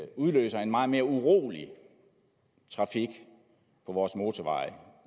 udløser en meget mere urolig trafik på vores motorveje